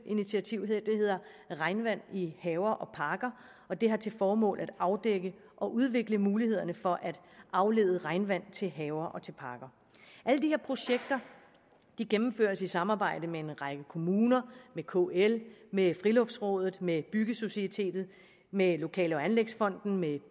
initiativ hedder regnvand i haver og parker og det har til formål at afdække og udvikle mulighederne for at aflede regnvand til haver og parker alle de her projekter gennemføres i samarbejde med en række kommuner med kl med friluftsrådet med byggesocietetet med lokale og anlægsfonden med